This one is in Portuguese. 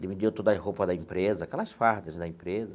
Ele me deu todas as roupas da empresa, aquelas fardas da empresa.